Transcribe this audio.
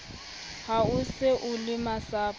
ha o se o lemasapo